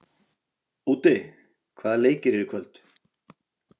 Úddi, hvaða leikir eru í kvöld?